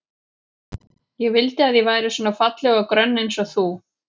Ég vildi að ég væri svona falleg og grönn eins og þú.